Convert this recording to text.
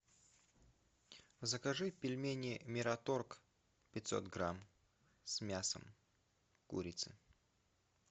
закажи пельмени мираторг пятьсот грамм с мясом курицы